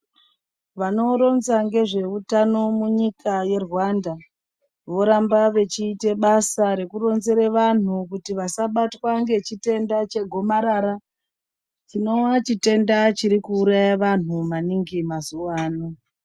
Vanoronza ngezveutano munyika ye Rwanda voramba vechiite basa reku kuronzera vanhu kuti vasabatwa ngechitenda chegomarara chinowa chitenda chiri kuuraya vanhu maningi mazuwa ano.